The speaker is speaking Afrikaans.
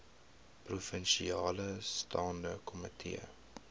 provinsiale staande komitee